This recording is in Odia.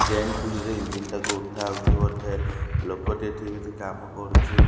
ଚେନ୍ ଖୋଲିକି ଇଞ୍ଜିନ ଟାକୁ ଉଠାହଉଛି ଗୋଟେ ଲୋକ ଟିଏ କାମ କରୁଛି।